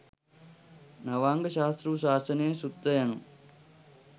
නවාංග ශාස්තෘ ශාසනය සුත්ත යනු